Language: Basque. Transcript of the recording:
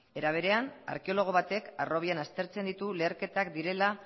era berean arkeologo batek harrobian aztertzen ditu leherketak direla